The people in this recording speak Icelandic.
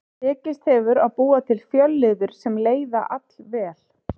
Tekist hefur að búa til fjölliður sem leiða allvel.